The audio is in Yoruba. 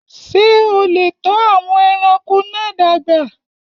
Ṣé o lè tọ́ àwọn ẹranko náà dàgbà?